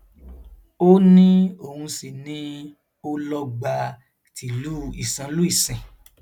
ó ní òun sì ni olọgbà tìlú ìsánlùìsìn